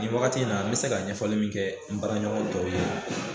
Nin wagati in na n mi se ka ɲɛfɔli min kɛ n baraɲɔgɔn tɔw ye